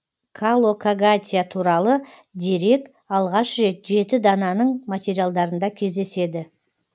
калокагатия туралы дерек алғаш рет жеті дананың материалдарында кездеседі